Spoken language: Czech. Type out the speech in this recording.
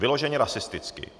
Vyloženě rasisticky.